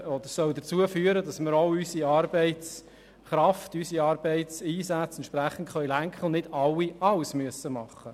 Diese soll dazu führen, dass wir unseren Arbeitseinsatz entsprechend lenken können und nicht alle alles tun müssen.